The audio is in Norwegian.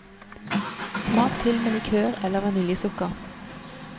Smak til med likør eller vaniljesukker.